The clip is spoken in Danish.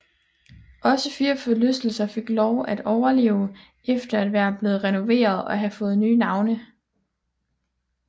Også fire forlystelser fik lov at overleve efter at være blevet renoveret og have fået nye navne